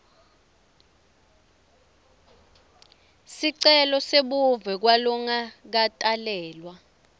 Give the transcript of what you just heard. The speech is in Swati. sicelo sebuve kwalongakatalelwa